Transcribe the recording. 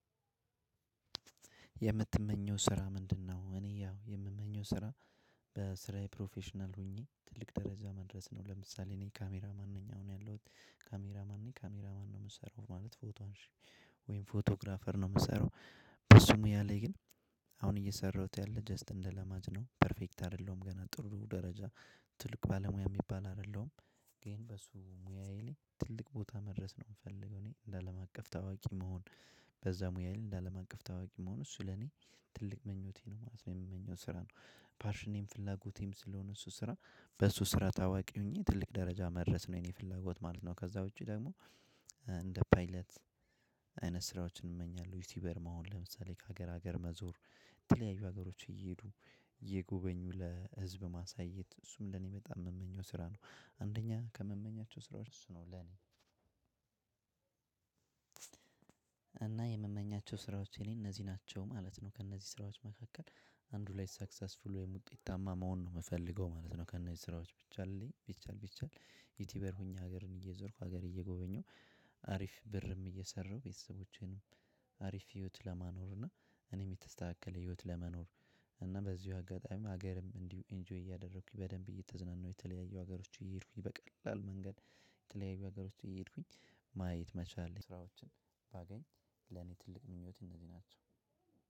የምትመኘው ስራ ምንድነው? እኔ ያው የምመኘው ስራ በስራዬ ፕሮፌሽናል ሆኜ ትልቅ ደረጃ መድረስ ነው። ለምሳሌ እኔ ካሜራ ማን ነኝ አሁን ያለሁት ካሜራ ማን ነኝ ካሜራ ማን ነው የምሰራው ማለት ፎቶ አንሺ ወይም ፎቶግራፈር ነው የምሰራው። በሱ ሙያ ላይ ግን አሁን እየሰራሁት ያለ ጀስት እንደ ለማጅ ነው ፐርፌክት አይደለሁም ገና ጥሩ ደረጃ። ትልቅ ባለሙያ የሚባል አይደለም። ግን በሱ ሙያዬ ላይ ትልቅ ቦታ መድረስ ነው የምፈልገው እኔ እንደ አለም አቀፍ ታዋቂ መሆን። በዛ ሙያዬ ላይ እንደአለምአቀፍ ታዋቂ መሆን እሱ ለኔ ትልቅ ምኞቴ ነው ማለት ነው የምመኘው ስራ ነው። ፓሽኔም ፍላጎቴም ስለሆነ እሱ ስራ በሱ ስራ ታዋቂ ሆኜ ትልቅ ደረጃ መድረስ ነው የኔ ፍላጎት ማለት ነው። ከዛ ውጪ ደሞ እንደ ፓይለት። አይነት ስራዎችን እመኛለሁ ዩቲዩበር መሆን ለምሳሌ ከሀገር ሀገር መዞር። የተለያዩ ሀገሮች እየሄዱ እየጎበኙ ለህዝብ ማሳየት እሱም ለኔ በጣም የምመኘው ስራ ነው። አንደኛ ከምመኛቸው ስራዎች እሱ ነው ለኔ። እና የምመኛቸው ስራዎች የኔ እነዚህ ናቸው ማለት ነው። ከእነዚህ ስራዎች መካከል አንዱ ላይ ሰክሰስፉል ወይም ውጤታማ መሆን ነው የምፈልገው ማለት ነው። ከነዚህ ስራዎች ብቻልልኝ ቢቻል ቢቻል ዩቲዩበር ሆኜ ሀገርን እየዞርኩ ሀገር እየጎበኘሁ አሪፍ ብርም እየሰራሁ ቤተሰቦቼንም አሪፍ ህይወት ለማኖር እና እኔም የተስተካከለ ህይወት ለመኖር። እና በዚሁ አጋጣሚም ሀገርም እንዲሁ ኢንጆይ እያደረኩኝ በደንብ እየተዝናናሁ የተለያዩ ሀገሮች እየሄዱኝ በቀላል መንገድ። የተለያዩ ሀገሮች እየሄድኩኝ ማየት መቻል ስራዎችን ባገኝ ለኔ ትልቅ ምኞት እነዚህ ናቸው።